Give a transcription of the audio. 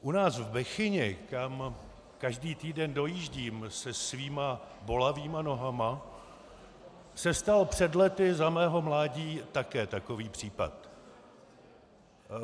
U nás v Bechyni, kam každý týden dojíždím se svými bolavými nohami, se stal před lety za mého mládí také takové případ.